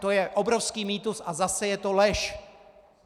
To je obrovský mýtus a zase je to lež!